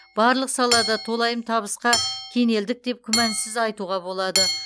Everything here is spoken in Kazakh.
барлық салада толайым табысқа кенелдік деп күмәнсіз айтуға болады